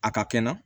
A ka kɛ na